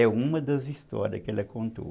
É uma das histórias que ela contou.